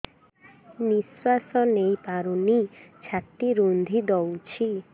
ନିଶ୍ୱାସ ନେଇପାରୁନି ଛାତି ରୁନ୍ଧି ଦଉଛି